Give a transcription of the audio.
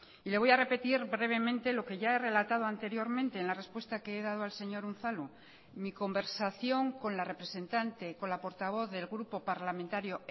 y le voy a repetir brevemente lo que ya he relatado anteriormente en la respuesta que he dado al señor unzalu mi conversación con la representante con la portavoz del grupo parlamentario